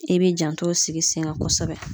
I bi jantow sigi sen kan kosɛbɛ